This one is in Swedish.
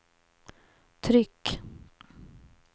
tryck